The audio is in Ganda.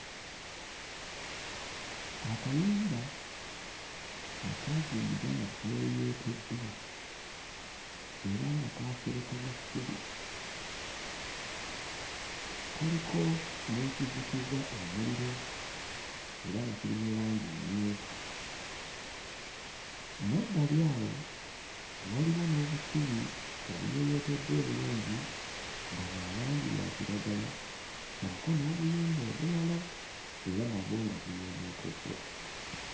Akayumba akaazimbibwa nga kayooyooteddwa era nga kaaserekebwa ssubi. Kaliko n'ekizikiza omuliro era nga kiri mu langi mmyufu. Mmabbali awo, waliwo n'obusubi obuyooyooteddwa obulungi nga bwa langi ya kiragala ssaako n'obuyumba obulala ng'era nabwo buyooyooteddwa.